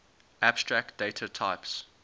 abstract data types